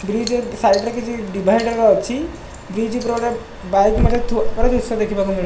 Bridge ର side ରେ କିଛି ଡିଭାଇଡର୍ ଅଛି। ବ୍ରିଜ ଉପରେ ଗୋଟେ ବାଇକ୍ ମଧ୍ୟ ଥୁଆ ହବାର ଦୃଶ୍ୟ ଦେଖିବାକୁ ମିଳୁ --